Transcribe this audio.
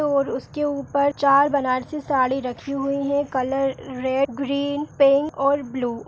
और उसके ऊपर चार बनारसी साड़ी रखी हुई है कलर रेड ग्रीन पिंक और ब्लू ।